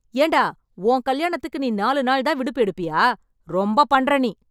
ஏன்டா உன் கல்யாணத்துக்கு நீ நாலு நாள் தான் விடுப்பு எடுப்பியா? ரொம்ப பண்ற நீ.